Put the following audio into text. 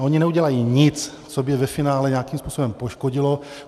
A oni neudělají nic, co by je ve finále nějakým způsobem poškodilo.